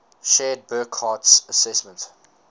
shared burckhardt's assessment